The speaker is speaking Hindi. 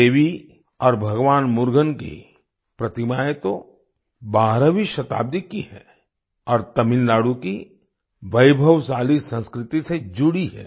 देवी और भगवान मुर्गन की प्रतिमाएँ तो 12वीं शताब्दी की हैं और तमिलनाडु की वैभवशाली संस्कृति से जुड़ी हैं